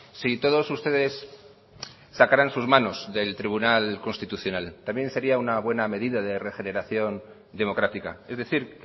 si todos ustedes sacaran sus manos del tribunal constitucional también sería una buena medida de regeneración democrática es decir